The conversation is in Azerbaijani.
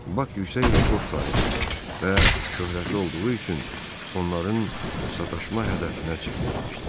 Bak yüksək rekord sahibi və şöhrətli olduğu üçün onların sataşma hədəfinə çevrilmişdi.